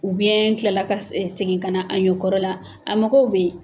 U biɲɛ kilala ka segin ka na a ɲɔ kɔrɔ la, a mɔgɔ be yen